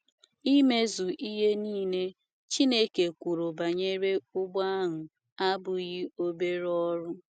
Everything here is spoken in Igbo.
Imezụ ihe nile Chineke kwuru banyere ụgbọ ahụ abụghị obere ọrụ.